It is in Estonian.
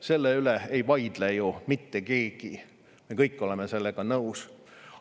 Selle üle ei vaidle ju mitte keegi, me kõik oleme sellega nõus.